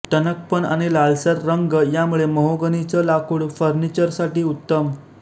टणकपण आणि लालसर रंग यामुळे महोगनीचं लाकूड फर्निचरसाठी उत्तम